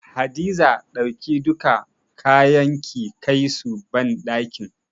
Hadiza dauki duka kayan ki kai su banɗakin.